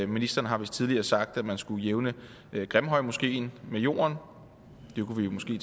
ministeren har vist tidligere sagt at man skulle jævne grimhøjmoskeen med jorden og det kunne vi jo måske